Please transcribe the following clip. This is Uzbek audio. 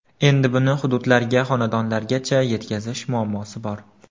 Endi buni hududlarga, xonadonlargacha yetkazish muammosi bor.